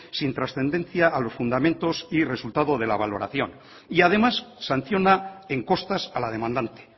sin trascendencia a los fundamentos y resultado de la valoración y además sanciona en costas a la demandante